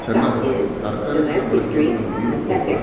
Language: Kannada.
ಚೆನ್ನಾಗಿ ಬರುತ್ತೆ ತರಕಾರಿ ಚೆನ್ನಾಗಿ ಬೆಳಿಬೇಕೆಂದ್ರೆ ನಾವು ನೀರು ಗೊಬ್ಬರ --